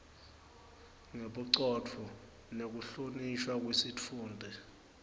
ngebucotfo nekuhlonishwa kwesitfunti